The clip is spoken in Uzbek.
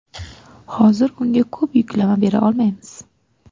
Hozir unga ko‘p yuklama bera olmaymiz.